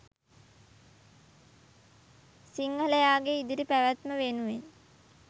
සිංහලයාගේ ඉදිරි පැවැත්ම වෙනුවෙන්.